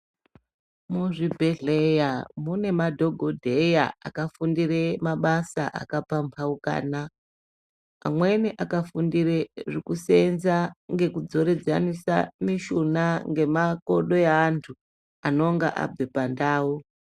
Muzvibhehleya mune madhokodheya akafundire mabasa akapambaukana amweni akafundire zvekuseenza ngekudzokeredza mishuna ngemakodo eantu anenge abva pandau .